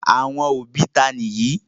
Àwọn òbí ta ni èyí?